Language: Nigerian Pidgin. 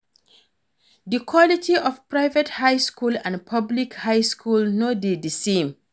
Di quality of private high school and public high school no de di same